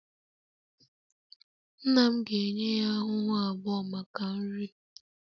Nna m ga-enye ya ahụhụ abụọ maka nri